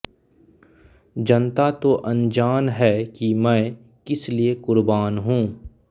जनता तो अनजान है कि मैं किसलिए कुर्बान हूँ